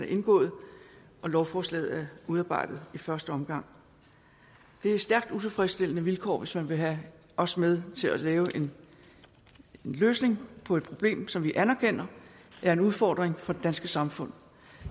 indgået og lovforslaget er udarbejdet i første omgang det er stærkt utilfredsstillende vilkår hvis man vil have os med til at lave en løsning på et problem som vi anerkender er en udfordring for det danske samfund